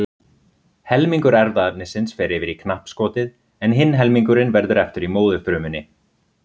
Helmingur erfðaefnisins fer yfir í knappskotið en hinn helmingurinn verður eftir í móðurfrumunni.